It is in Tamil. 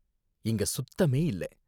இங்க சுத்தமே இல்ல.